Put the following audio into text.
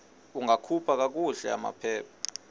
ungakhupha kakuhle amaphepha